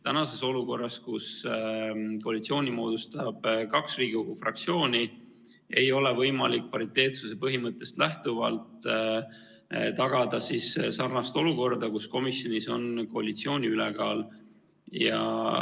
Praeguses olukorras, kus koalitsiooni moodustavad kaks Riigikogu fraktsiooni, ei ole võimalik pariteetsuse põhimõttest lähtuvalt tagada sellist olukorda, kus komisjonis on koalitsiooni ülekaal.